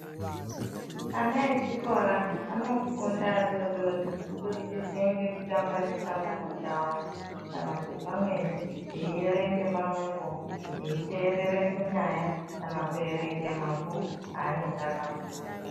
Ana echikora anofunda adodori kubudikidza ngekutamba neshamwari kana kuti pamweni veierenge pamwepo, veiteerere kunyaya kana kuerenga mabhuku aanenge akapuwa.